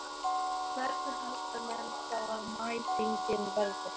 Hvernig halda menn þá að mætingin verði?